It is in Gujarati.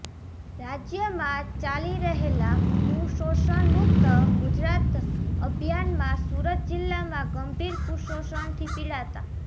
રાજયમાં ચાલી રહેલા કુષોષણ મુકત ગુજરાત અભિયાનમાં સુરત જિલ્લામાં ગંભીર કુષોષણથી પીડાતા